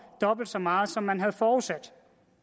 dobbelt så meget som man havde forudsat